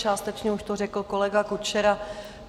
Částečně už to řekl kolega Kučera.